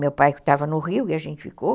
Meu pai estava no Rio e a gente ficou.